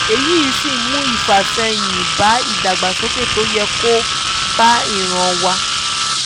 èyí sì ń mú ìfàsẹ́yìn bá ìdàgbàsókè tó yẹ kó bá ìran wá